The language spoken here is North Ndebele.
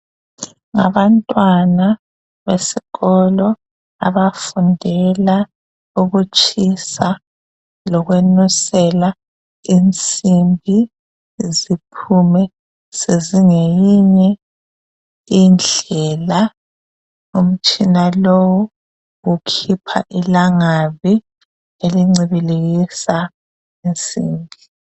Abantwana besikolo abafundela ukutshisa lokwenusela insimbi ziphume sezingeyinye indlela umtshina lowu ukhipha ilangabi elincibilikisa insimbi